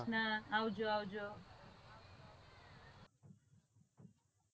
આવજો આવજો.